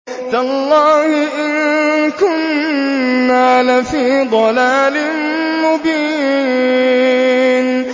تَاللَّهِ إِن كُنَّا لَفِي ضَلَالٍ مُّبِينٍ